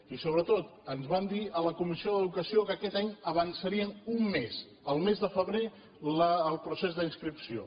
i sobretot ens van dir a la comissió d’educació que aquest any avançarien un mes al mes de febrer el procés d’inscripció